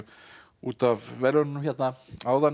út af verðlaununum áðan